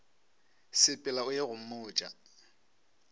sepela o ye go mmotša